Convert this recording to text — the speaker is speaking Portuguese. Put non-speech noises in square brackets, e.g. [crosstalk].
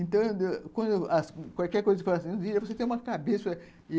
Então, [unintelligible] quando qualquer coisa se faz assim, você tem uma cabeça.